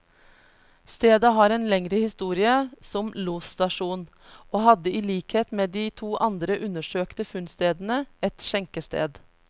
Stedet har en lengre historie som losstasjon, og hadde i likhet med de to andre undersøkte funnstedene, et skjenkested.